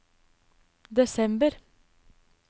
desember